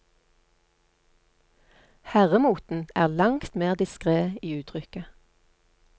Herremoten er langt mer diskret i uttrykket.